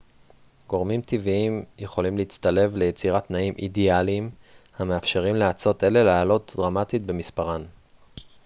גורמים טבעיים יכולים להצטלב ליצירת תנאים אידאליים המאפשרים לאצות אלה לעלות דרמטית במספרן